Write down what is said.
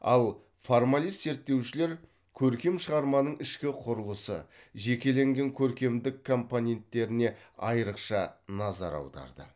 ал формалист зерттеушілер көркем шығарманың ішкі құрылысы жекеленген көркемдік компоненттеріне айрықша назар аударды